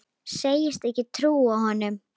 Segist ekki trúa honum.